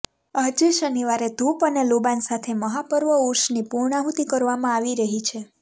આજે શનિવારે ધુપ અને લોબાન સાથે મહાપર્વ ઉર્ષની પૂર્ણાહુતિ કરવામાં આવી રહી છે